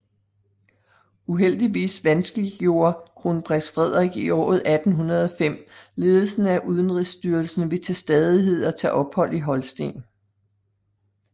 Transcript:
Uheldigvis vanskeliggjorde kronprins Frederik i året 1805 ledelsen af udenrigsstyrelsen ved til stadighed at tage ophold i Holsten